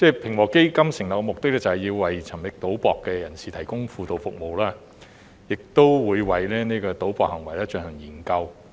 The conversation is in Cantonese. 平和基金成立的目的，是要為沉迷賭博的人士提供輔導服務，亦會為賭博行為進行研究。